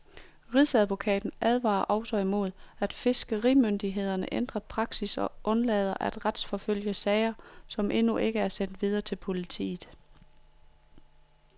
Rigsadvokaten advarer også mod, at fiskerimyndighederne ændrer praksis og undlader at retsforfølge sager, som endnu ikke er sendt videre til politiet.